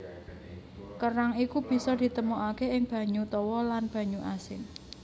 Kerang iku bisa ditemokaké ing banyu tawa lan banyu asin